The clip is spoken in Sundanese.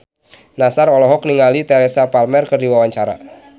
Nassar olohok ningali Teresa Palmer keur diwawancara